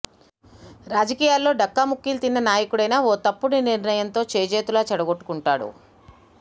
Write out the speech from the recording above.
రాజకీయాల్లో డక్కాముక్కీలు తిన్న నాయకుడైనా ఓ తప్పుడు నిర్ణయంతో చేజేతులా చెడగొట్టుకుంటాడు